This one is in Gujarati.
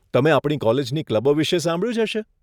તમે આપણી કોલેજની ક્લબો વિશે સાંભળ્યું જ હશે.